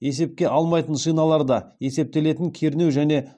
есепке алмайтын шиналарда есептелетін кернеу және